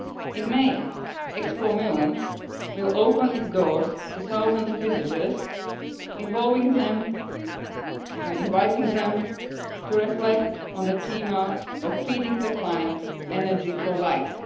In May, Expo Milan will open its doors to thousands of visitors, involving them and inviting them to reflect on the theme of Feeding the planet, energy for life'.